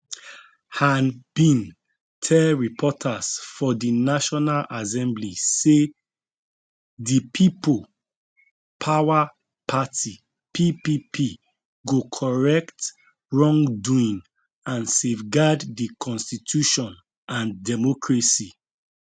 han bin tell reporters for di national assembly say di people power party ppp go correct wrongdoing and safeguard di constitution and democracy